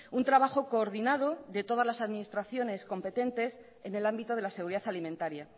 un trabajo coordinado de todas las administraciones competentes en el ámbito de la seguridad alimentaria